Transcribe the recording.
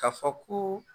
Ka fɔ ko